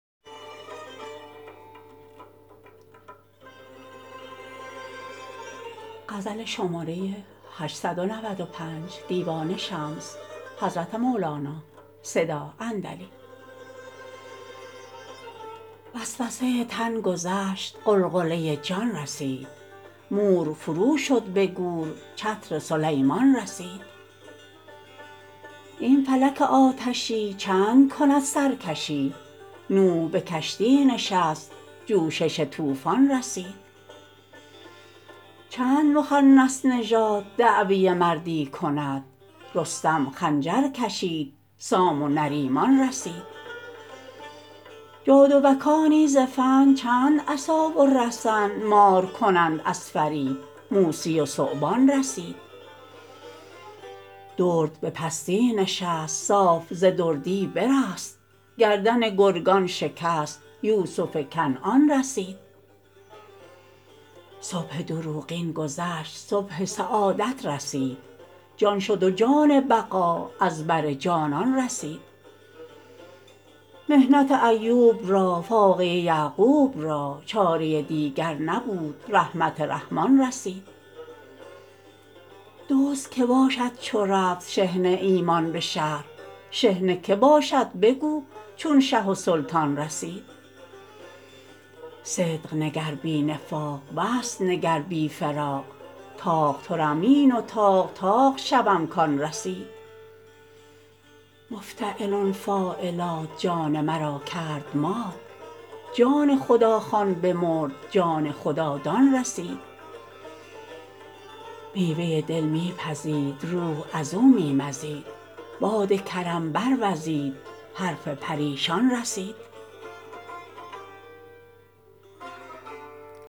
وسوسه تن گذشت غلغله جان رسید مور فروشد به گور چتر سلیمان رسید این فلک آتشی چند کند سرکشی نوح به کشتی نشست جوشش طوفان رسید چند مخنث نژاد دعوی مردی کند رستم خنجر کشید سام و نریمان رسید جادوکانی ز فن چند عصا و رسن مار کنند از فریب موسی و ثعبان رسید درد به پستی نشست صاف ز دردی برست گردن گرگان شکست یوسف کنعان رسید صبح دروغین گذشت صبح سعادت رسید جان شد و جان بقا از بر جانان رسید محنت ایوب را فاقه یعقوب را چاره دیگر نبود رحمت رحمان رسید دزد کی باشد چو رفت شحنه ایمان به شهر شحنه کی باشد بگو چون شه و سلطان رسید صدق نگر بی نفاق وصل نگر بی فراق طاق طرنبین و طاق طاق شوم کان رسید مفتعلن فاعلات جان مرا کرد مات جان خداخوان بمرد جان خدادان رسید میوه دل می پزید روح از او می مزید باد کرم بروزید حرف پریشان رسید